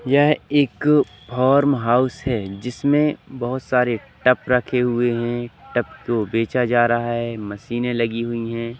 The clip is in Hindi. यह एक फार्म हाउस है जिसमें बहोत सारे टप रखे हुए है टप को बेचा जा रहा है मशीने लगी हुई है।